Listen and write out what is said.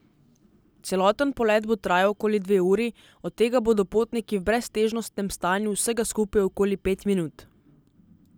Celoten polet bo trajal okoli dve uri, od tega bodo potniki v breztežnostnem stanju vsega skupaj okoli pet minut.